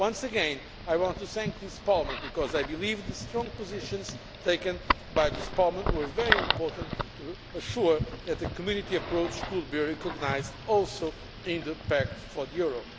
Once again I want to thank this Parliament because I believe the strong positions taken by this Parliament were very important to assure that the Community approach could also be recognised in the Pact for the euro.